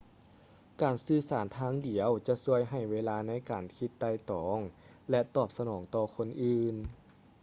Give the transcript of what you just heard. ການສື່ສານທາງດຽວຈະຊ່ວຍໃຫ້ເວລາໃນການຄິດໄຕ່ຕອງ ແລະ ຕອບສະໜອງຕໍ່ຄົນອື່ນ